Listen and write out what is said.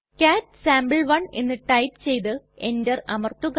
കാട്ട് സാംപെ1 എന്ന് ടൈപ്പ് ചെയ്തു എന്റർ അമർത്തുക